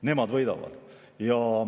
Nemad võidavad.